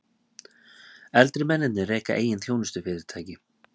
Eldri mennirnir reka eigin þjónustufyrirtæki